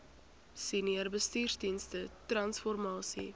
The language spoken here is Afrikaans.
senior bestuursdienste transformasie